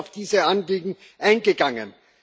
Und wir sind auf diese Anliegen eingegangen.